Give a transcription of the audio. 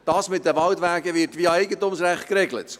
Das mit den Waldwegen wird via Eigentumsrecht geregelt.